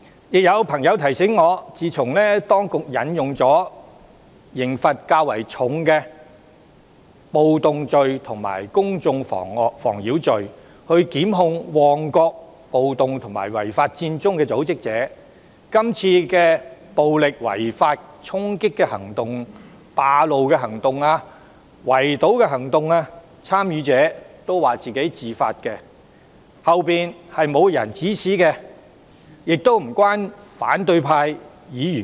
亦有朋友提醒我，自當局引用刑罰較重的暴動罪及公眾妨擾罪，檢控旺角暴動及違法佔中的組織者後，今次暴力違法衝擊、佔路及圍堵行動的參與者都說是自發的，背後沒有人指使，亦與反對派議員無關。